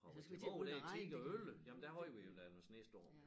Har været tilbage dér i 10 og 11 ja der havde vi da noget snestorm